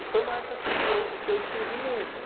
E foi uma época que eu que eu escrevi muito, né.